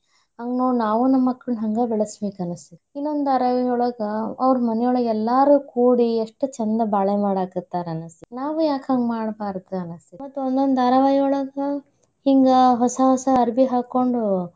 ಹಂಗ ನೋಡಿ ನಾವೂ ನಮ್ ಮಕ್ಳನ ಹಂಗ ಬೆಳ್ಸಬೇಕ್ನಸತೇತಿ. ಇನ್ನೊಂದ ಧಾರಾವಾಹಿಯೊಳಗ ಅವ್ರ ಮನಿಯೊಳಗ ಎಲ್ಲಾರೂ ಕೂಡಿ ಎಷ್ಟ ಚಂದ ಬಾಳೆ ಮಾಡಾಕತ್ತಾರ ಅನಸ್ತೇತಿ. ನಾವೂ ಯಾಕ್ ಹಂಗ ಮಾಡಬಾರ್ದ್ ಅನ್ಸತ್. ಮತ್ ಒಂದ್ ಧಾರಾವಾಹಿಯೊಳಗ ಹಿಂಗ ಹೊಸ, ಹೊಸ ಅರ್ಬಿ ಹಾಕೊಂಡು.